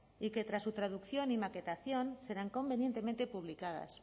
y que tras su traducción y maquetación serán convenientemente publicadas